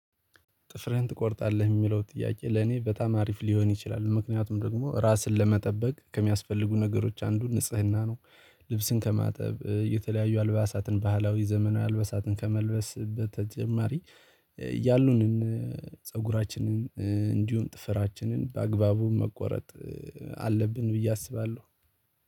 ጥፍርህን ትቆርጣለህ የሚለው ጥያቄ ለኔ በጣም አሪፍ ሊሆን ይችላል ምክንያቱም ደግሞ ራስን ለመጠበቅ ከሚያስፈልጉ ነገሮች አንዱ ንጽህና ነው። ልብስን ከማጠብ የተለያዩ አልባሳትን ባህላዊ ዘመናዊ አልባሳትን ከመልበስ በተጨማሪ ያሉንን ፃጉራችንን እንዲሁም ጥፍራችንን በአግባቡ መቆረጥ አለብን ብዬ አስባለሁ።